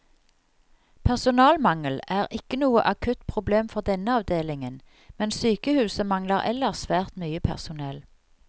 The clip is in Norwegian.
Personalmangel er ikke noe akutt problem for denne avdelingen, men sykehuset mangler ellers svært mye personell.